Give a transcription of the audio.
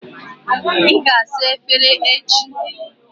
Ị ga-asa efere echi.